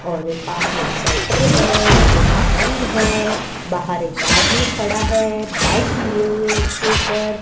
और ये पास में शटर है जो कि बंद है बाहर एक आदमी खड़ा है बाइक लिए हुए उसके ऊपर--